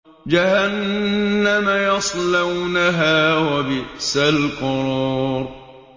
جَهَنَّمَ يَصْلَوْنَهَا ۖ وَبِئْسَ الْقَرَارُ